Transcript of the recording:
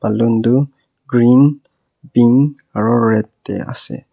balloon tu green pink aru red te ase.